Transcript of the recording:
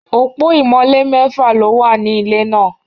Opo imole mefa lo wa ni ile naa